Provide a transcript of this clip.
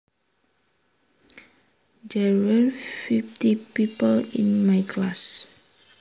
There were fifty people in my class